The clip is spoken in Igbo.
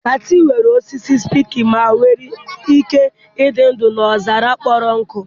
cacti nwere osisi spiky ma nwee ike ịdị ndụ n'ọzara kpọrọ nkụ